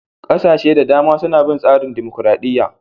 Kasashe da dama suna bin tsarin dimokuradiyya.